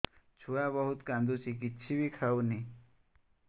ଛୁଆ ବହୁତ୍ କାନ୍ଦୁଚି କିଛିବି ଖାଉନି